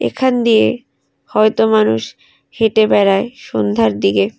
এখান দিয়ে হয়তো মানুষ হেটে বেড়ায় সন্ধ্যার দিগে।